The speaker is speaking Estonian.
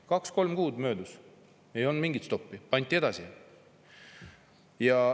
Kaks-kolm kuud möödus ja ei olnud mingit stoppi, pandi edasi.